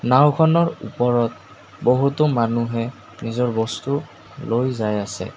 নাওঁখনৰ ওপৰত বহুতো মানুহে নিজৰ বস্তু লৈ যায় আছে।